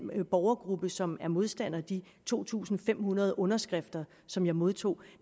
borgergruppe som er modstandere de to tusind fem hundrede underskrifter som jeg modtog kan